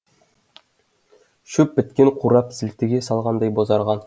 шөп біткен қурап сілтіге салғандай бозарған